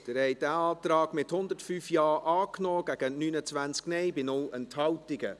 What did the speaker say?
Sie haben diesen Antrag angenommen, mit 105 Ja- gegen 29 Nein-Stimmen bei 0 Enthaltungen.